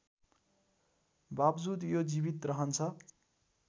बावजुद यो जीवित रहन्छ